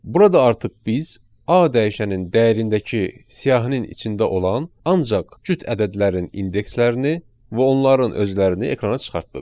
Burada artıq biz A dəyişənin dəyərindəki siyahının içində olan ancaq cüt ədədlərin indekslərini və onların özlərini ekrana çıxartdıq.